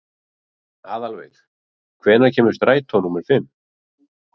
Aðalveig, hvenær kemur strætó númer fimm?